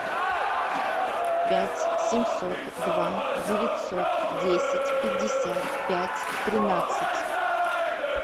пять семьсот два девятьсот десять пятьдесят пять тринадцать